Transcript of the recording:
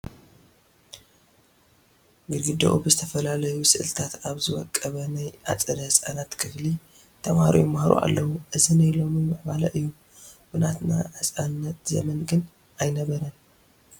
ግድግድኡ ብዝተፈላለዩ ስእልታት ኣብ ዝወቀበ ናይ ኣፀደ ህፃናት ክፍሊ ተመሃሮ ይመሃሩ ኣለዉ፡፡ እዚ ናይ ሎሚ ምዕባለ እዩ፡፡ ብናትና ህፃንነት ዘመን ግን ኣይነበረን፡፡